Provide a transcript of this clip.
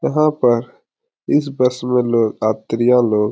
यहाँ पर इस बस में लोग यात्रियाँ लोग --